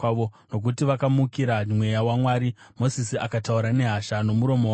nokuti vakamukira Mweya waMwari, Mozisi akataura nehasha nomuromo wake.